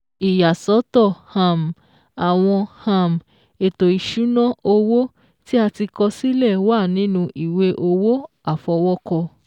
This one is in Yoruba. Ìyàsọ́tọ̀ um àwọn um ètò ìṣúná owó tí a ti kọ sílẹ̀ wà nínu ìwé owó àfọwọ́kọ